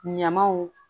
Ɲamaw